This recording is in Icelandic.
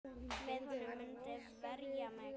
Með honum muntu verja mig.